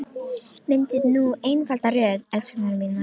Myndið nú einfalda röð, elskurnar mínar.